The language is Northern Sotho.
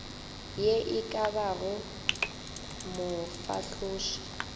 ye e ka bago mofahloši